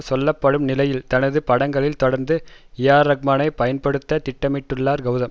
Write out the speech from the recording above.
சொல்ல படும் நிலையில் தனது படங்களில் தொடர்ந்து ஏஆர்ரஹ்மானை பயன்படுத்த திட்டமிட்டுள்ளார் கௌதம்